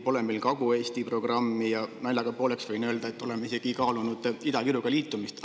Pole meil Kagu-Eesti programmi ja naljaga pooleks võin öelda, et oleme isegi kaalunud Ida-Virumaaga liitumist.